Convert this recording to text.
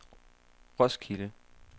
Roskilde